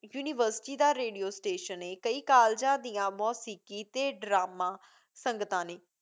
University ਦਾ radio station ਏ। ਕਈ ਕਾਲਜਾਂ ਦੀਆਂ ਮੌਸੀਕੀ ਤੇ ਡਰਾਮਾ ਸੰਗਤਾਂ ਨੇਂ।